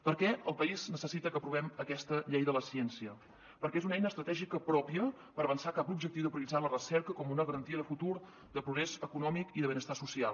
per què el país necessita que aprovem aquesta llei de la ciència perquè és una eina estratègica pròpia per avançar cap a l’objectiu de prioritzar la recerca com una ga rantia de futur de progrés econòmic i de benestar social